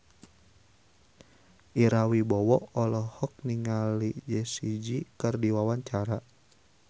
Ira Wibowo olohok ningali Jessie J keur diwawancara